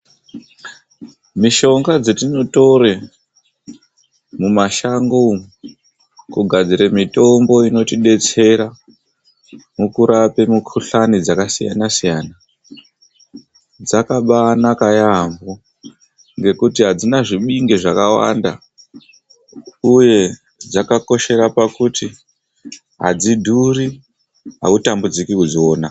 Mishonga dzetinotore mumashango umu kugadzira mitombo inotidetsera mukurapa mikuhlani dzakasiyana-siyana, dzakaba-anaka yaamho ngekuti hadzina zvibinge zvakawanda uye dzakakoshera pakuti hadzidhuru hautambudziki kudziona.